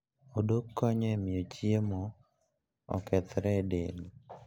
Odok konyo e miyo chiemo okethre e del.